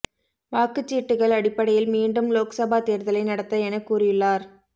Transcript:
வாக்குச்சீட்டுக்கள் அடிப்படையில் மீண்டும் லோக்சபா தேர்தலை நடத்த என கூறியுள்ளார்